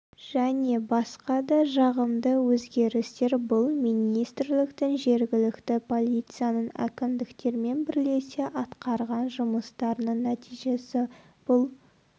және басқа да жағымды өзгерістер бұл министрліктің жергілікті полицияның әкімдіктермен бірлесе атқарған жұмыстарының нәтижесі бұл